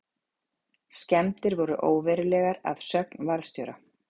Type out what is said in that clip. Skemmdir voru óverulegar að sögn varðstjóra